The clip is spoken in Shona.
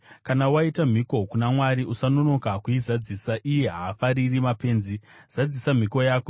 Kana waita mhiko kuna Mwari, usanonoka kuizadzisa. Iye haafariri mapenzi; zadzisa mhiko yako.